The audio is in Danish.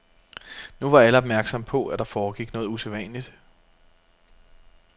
Nu var alle opmærksomme på, at der foregik noget usædvanligt.